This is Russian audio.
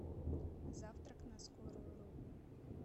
завтрак на скорую руку